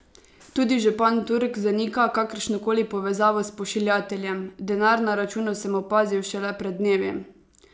Tudi župan Turk zanika kakršno koli povezavo s pošiljateljem: "Denar na računu sem opazil šele pred dnevi.